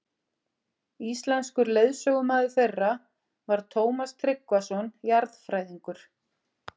Íslenskur leiðsögumaður þeirra var Tómas Tryggvason jarðfræðingur.